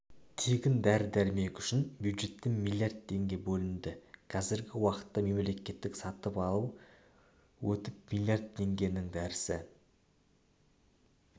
тегін дәрі-дәрмек үшін бюджеттен миллиард теңге бөлінді қазіргі уақытта мемлекеттік сатып алу өтіп миллиард теңгенің дәрісі